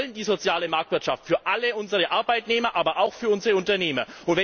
Wir wollen die soziale Marktwirtschaft für alle unsere Arbeitnehmer, aber auch für unsere Unternehmer.